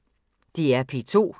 DR P2